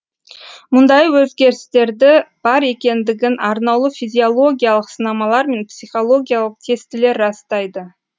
мұндай өзгерістерді бар екендігін арнаулы физиологиялық сынамалар мен психологиялық тестілер растайды